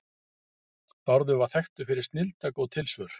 Bárður var þekktur fyrir snilldargóð tilsvör.